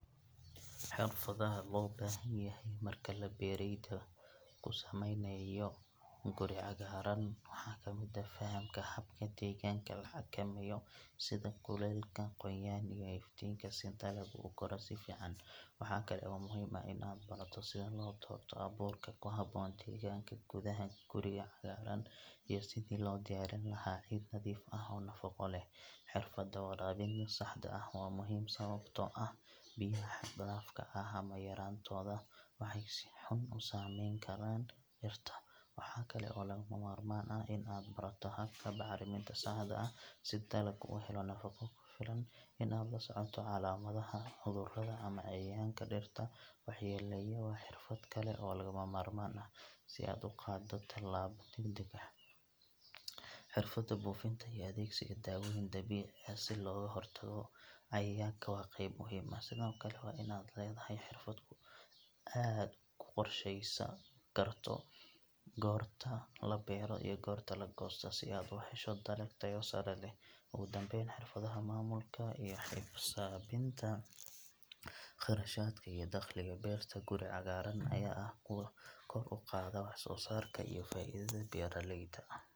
Xirfadaha loo baahan yahay marka la beeraleyda ku sameynayo guri-cagaaran waxaa ka mid ah fahamka habka deegaanka la xakameeyo sida kuleylka, qoyaan, iyo iftiinka si dalagga u koro si fiican. Waxa kale oo muhiim ah in aad barato sida loo doorto abuurka ku habboon deegaanka gudaha guriga cagaaran iyo sidii loo diyaarin lahaa ciid nadiif ah oo nafaqo leh. Xirfadda waraabinta saxda ah waa muhiim, sababtoo ah biyaha xad dhaafka ah ama yaraantooda waxay si xun u saameyn karaan dhirta. Waxaa kale oo lagama maarmaan ah in aad barato habka bacriminta saxda ah si dalagga u helo nafaqo ku filan. In aad la socoto calaamadaha cudurrada ama cayayaanka dhirta waxyeelleeya waa xirfad kale oo lagama maarmaan ah, si aad u qaaddo tallaabo degdeg ah. Xirfadda buufinta iyo adeegsiga daawooyin dabiici ah si looga hortago cayayaanka waa qayb muhiim ah. Sidoo kale, waa in aad leedahay xirfad aad ku qorsheyn karto goorta la beero iyo goorta la goosto, si aad u hesho dalag tayo sare leh. Ugu dambeyn, xirfadaha maamulka iyo xisaabinta kharashaadka iyo dakhliga beerta guri-cagaaran ayaa ah kuwo kor u qaada wax-soo-saarka iyo faa’iidada beeraleyda.